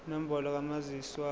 inombolo kamazisi wakho